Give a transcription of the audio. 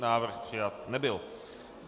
Návrh přijat nebyl.